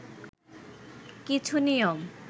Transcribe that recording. কিছু নিয়ম